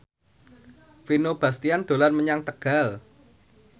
Vino Bastian dolan menyang Tegal